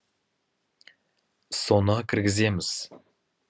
соны кіргіземіз